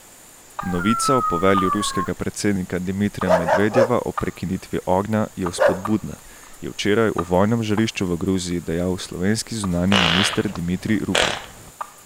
Novica o povelju ruskega predsednika Dimitrija Medvedjeva o prekinitvi ognja je vzpodbudna, je včeraj o vojnem žarišču v Gruziji dejal slovenski zunanji minister Dimitrij Rupel.